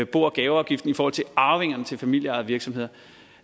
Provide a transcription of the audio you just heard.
bo og gaveafgiften og arvingerne til familieejede virksomheder